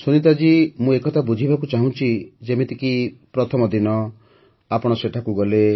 ସୁନୀତା ଜୀ ମୁଁ ଏ କଥା ବୁଝିବାକୁ ଚାହୁଁଛି ଯେମିତିକି ପ୍ରଥମ ଦିନ ଆପଣ ସେଠାକୁ ଗଲେ